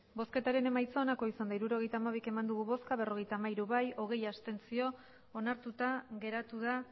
hirurogeita hamabi eman dugu bozka berrogeita hamairu bai hogei abstentzio onartuta geratu da